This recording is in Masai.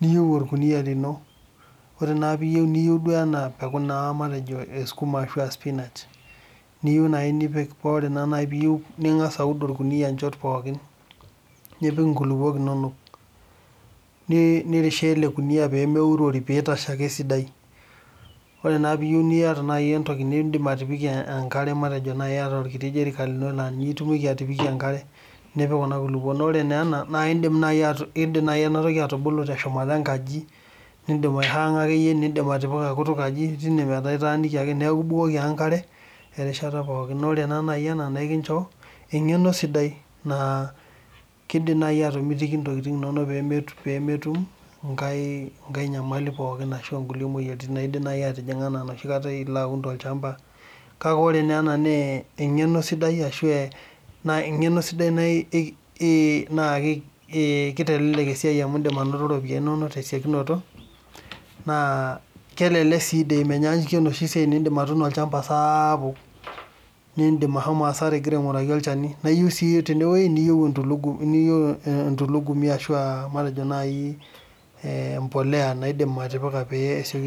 niyieu orkuniyia lino. Wore naa pee iyieu niyiu duo enaa embeku naa matejo ee sukuma aashu aa spinach, niyieu naai nipik paa wore naa nai pee iyieu, ningas aud orkuniyia inchot pookin, nipik inkulukok inonok. Nirishie ele kuniyia pee meurori pee itashe ake esidai. Wore naa pee iyieu niata naaji entoki niindim atipikie enkare matejo naaji iata orkita jerican lino naa ninye itumieki atipikie enkare, nipik kuna kulukok. Naa wore naa ena, naa iindim naai enatoki atubulu teshumata enkaji niidim aihaanga akeyie, niindim atipika kutukaji teine metaa itaaniki ake. Neeku ibukbukoki ake enkare, erishata pookin, naa wore taa naaji ena naa ekincho engeno sidai naa iindim naaji atomitoki intokitin inonok pee metum enkae nyamali pookin ashu nkulie moyiaritin naidim naai atijinga enaa enoshi kata ilo aun tolshamba. Kake wore naa ena naa engeno sidai ashu engeno sidai naa kitelelek esiai amu iindim ainoto iropiyani inonok tesiokunoto, naa kelelek sii menyaanyukie enoshi siai naa indim atuuno olshamba sapuk, niindim ashomo asara ikira ainguraki olchani naa iyieu sii tendewuoji niyieu entulugumi ashu ah matejo naai mbolea niidim atipika pee